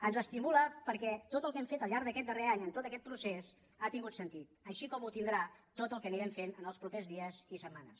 ens estimula perquè tot el que hem fet al llarg d’aquest darrer any en tot aquest procés ha tingut sentit així com en tindrà tot el que anirem fent en els propers dies i setmanes